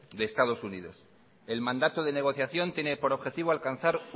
de estados unidos el mandato de negociación tiene por objetivo alcanzar